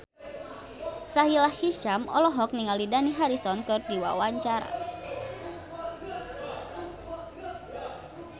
Sahila Hisyam olohok ningali Dani Harrison keur diwawancara